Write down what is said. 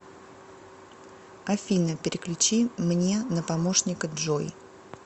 афина переключи мне на помощника джой